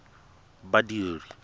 badiri